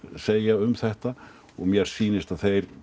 segja um þetta og mér sýnist að þeir